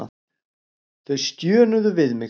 Þau stjönuðu við mig.